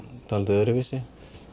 svolítið öðruvísi